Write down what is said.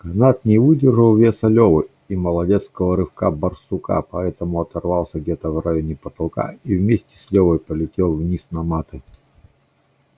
канат не выдержал веса левы и молодецкого рывка барсука поэтому оторвался где-то в районе потолка и вместе с левой полетел вниз на маты